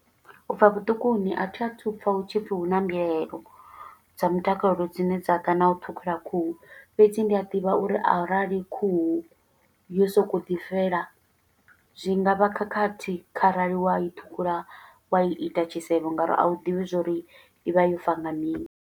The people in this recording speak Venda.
U bva vhuṱukuni, a thi a thu u pfa hu tshi pfi hu na mbuyelo dza mutakalo dzine dza ḓa na u ṱhukhula khuhu. Fhedzi ndi a ḓivha uri arali khuhu yo sokou ḓi fela, zwi nga vha khakhathi, kharali wa i ṱhukhula wa ita tshisevho, nga uri a u ḓivhi zwo uri i vha yo fa nga mini.